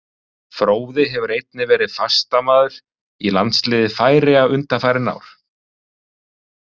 Fróði hefur einnig verið fastamaður í landsliði Færeyja undanfarin ár.